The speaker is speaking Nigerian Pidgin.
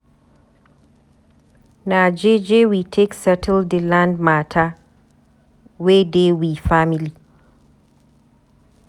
Na jeje we take settle di land mata wey dey we family.